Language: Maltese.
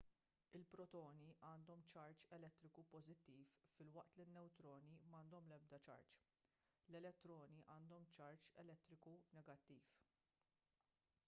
il-protoni għandhom ċarġ elettriku pożittiv filwaqt li n-newtroni m'għandhom l-ebda ċarġ l-elettroni għandhom ċarġ elettriku negattiv